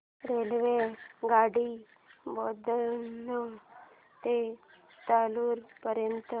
रेल्वेगाडी बोधन ते लातूर पर्यंत